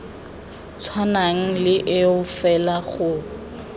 tshwanang le eo fela go